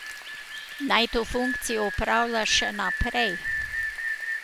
Naj to funkcijo opravlja še naprej.